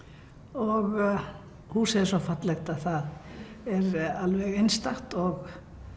og húsið er svo fallegt að það er alveg einstakt og